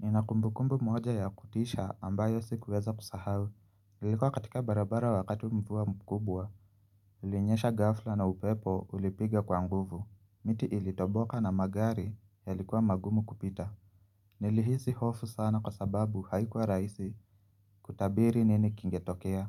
Ninakumbukumbu moja ya kutisha ambayo sikuweza kusahau. Nilikuwa katika barabara wakati mvua mkubwa. Ilinyesha ghafla na upepo ulipiga kwa nguvu. Miti ilitoboka na magari ya likuwa magumu kupita. Nilihisi hofu sana kwa sababu haikuwa raisi kutabiri nini kingetokea.